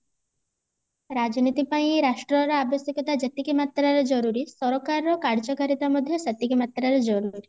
ରାଜନୀତି ପାଇଆନ ରାଷ୍ଟ୍ର ର ଆବଶ୍ୟକତା ଯେତିକି ମାତ୍ରାରେ ଜରୁରୀ ସରକାର ର କାର୍ଯ୍ୟ କାରିତା ମଧ୍ୟ ସେତିକି ମାତ୍ରାରେ ଜରୁରୀ